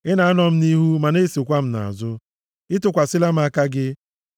Ị na-anọ m nʼihu, ma na-esokwa m nʼazụ, ị tụkwasịla m aka gị.